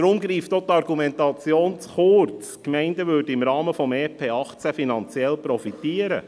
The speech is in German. Deshalb greift die Argumentation zu kurz, die Gemeinden würden im Rahmen des EP 2018 profitieren.